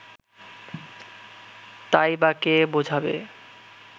তাই বা কে বোঝাবে